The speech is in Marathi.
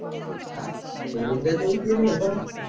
हां सोडून द्याचा विषय नाही आहे पण